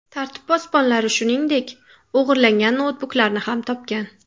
Tartib posbonlari, shuningdek, o‘g‘irlangan noutbuklarni ham topgan.